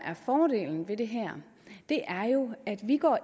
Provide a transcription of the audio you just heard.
fordelen ved det her jo at vi